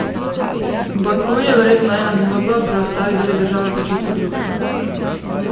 Baku je verjetno ena zgodba, preostali deli države pa čisto druga.